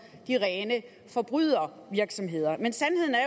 de rene forbrydervirksomheder men sandheden er